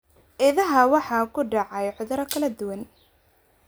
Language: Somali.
Idaha waxaa ku dhacay cudurro kala duwan.